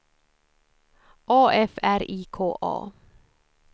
A F R I K A